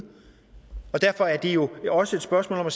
derfor er det jo også et spørgsmål om at